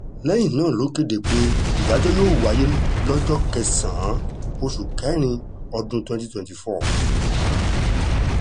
lẹ́yìn náà ló kéde pé ìdájọ́ yóò wáyé lọ́jọ́ kẹsàn-án oṣù kẹrin ọdún twenty twenty four